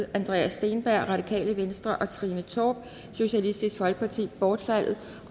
andreas steenberg og trine torp bortfaldet